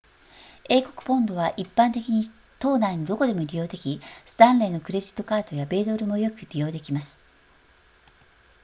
英国ポンドは一般的に島内のどこでも利用できスタンレーのクレジットカードや米ドルもよく利用できます